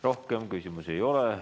Rohkem küsimusi ei ole.